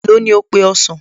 Èló ni ó pe ọsàn?